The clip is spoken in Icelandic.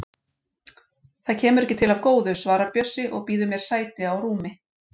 Það kemur ekki til af góðu, svarar Bjössi og býður sér sæti á rúmi